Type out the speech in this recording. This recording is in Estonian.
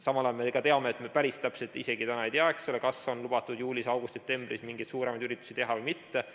Samal ajal me ka teame, et me päris täpselt isegi täna ei tea, eks ole, kas on lubatud juulis, augustis, septembris mingeid suuremaid üritusi teha või mitte.